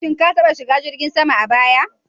Shin ka taɓa shiga jirgin sama a baya?